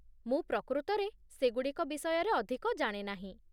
ମୁଁ ପ୍ରକୃତରେ ସେ ଗୁଡ଼ିକ ବିଷୟରେ ଅଧିକ ଜାଣେ ନାହିଁ।